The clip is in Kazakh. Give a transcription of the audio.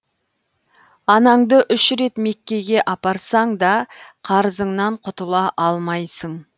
анаңды үш рет меккеге апарсаң да қарызыңнан құтыла алмайсың